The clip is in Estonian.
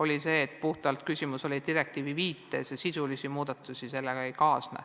Minu parim teadmine on see, et küsimus oli puhtalt puuduvas viites direktiivile, sisulisi muudatusi sellega ei kaasne.